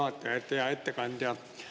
Hea ettekandja!